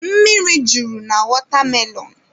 Mmiri juru na watermelon.